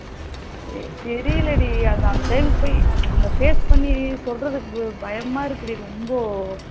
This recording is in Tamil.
ஹ தெரியல டி அந்த time க்கு போய் அந்த face பண்ணி சொல்லுறதுக்கு பயமா இருக்கு டி ரொம்போ